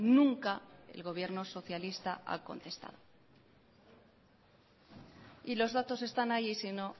nunca el gobierno socialista ha contestado y los datos están ahí y sino